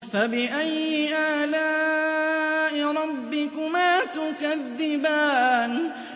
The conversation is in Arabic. فَبِأَيِّ آلَاءِ رَبِّكُمَا تُكَذِّبَانِ